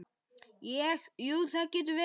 Ég, jú, það getur verið.